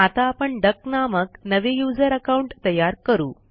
आता आपण डक नामक नवे युजर अकाउंट तयार करू